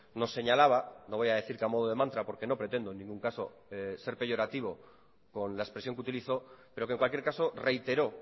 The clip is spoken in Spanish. nos señalaba no voy a decir que a modo de mantra porque no pretendo en ningún caso ser peyorativo con la expresión que utilizó pero que en cualquier caso reiteró